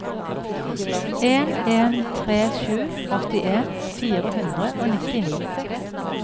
en en tre sju åttien fire hundre og nittini